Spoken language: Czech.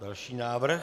Další návrh.